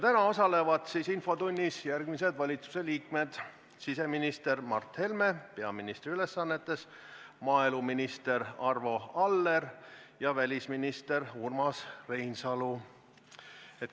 Täna osalevad infotunnis järgmised valitsuse liikmed: siseminister Mart Helme peaministri ülesannetes, maaeluminister Arvo Aller ja välisminister Urmas Reinsalu.